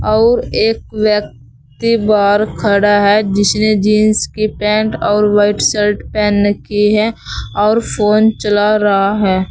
और एक व्यक्ति बाहर खड़ा है जिसने जींस की पेंट और वाइट शर्ट पहन रखी है और फोन चला रहा है।